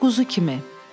Quzu kimi.